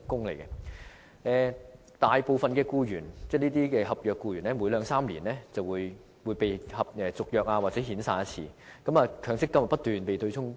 由於大部分合約僱員每兩三年便會被遣散或重新簽訂合約，他們的強積金便不斷被對沖。